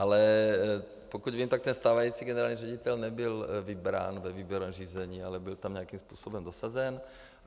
Ale pokud vím, tak ten stávající generální ředitel nebyl vybrán ve výběrovém řízení, ale byl tam nějakým způsobem dosazen.